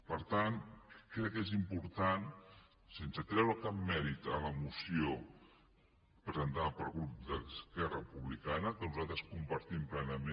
per tant crec que és important sense treure cap mèrit a la moció presentada pel grup d’esquerra republicana que nosaltres compartim plenament